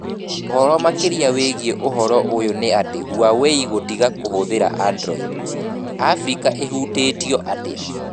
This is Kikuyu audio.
Ũhoro makĩria wĩgiĩ ũhoro ũyũ nĩ atĩ Huawei gũtiga kũhũthĩra Android: Abirika ĩhutĩtio atĩa?